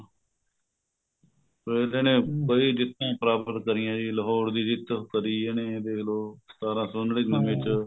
ਫੇਰ ਤਾਂ ਇਹਨੇ ਕਈ ਜਿੱਤਾਂ ਪ੍ਰਾਪਤ ਕਰੀਆਂ ਜੀ ਲਾਹੋਰ ਦੀ ਜਿੱਤ ਕਦੀ ਇਹਨੇ ਦੇਖਲੋ ਸਤਾਰਾਂ ਸੋ ਨੜੀਨਵੇ ਚ